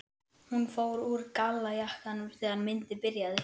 Hún fór úr gallajakkanum þegar myndin byrjaði.